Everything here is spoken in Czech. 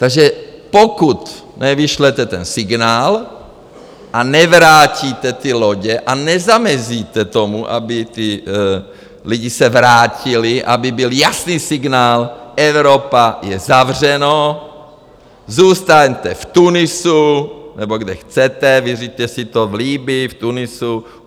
Takže pokud nevyšlete ten signál a nevrátíte ty lodě a nezamezíte tomu, aby ti lidé se vrátili, aby byl jasný signál: Evropa - je zavřeno, zůstaňte v Tunisu nebo kde chcete, vyřiďte si to v Libyi, v Tunisu.